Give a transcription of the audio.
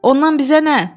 Ondan bizə nə?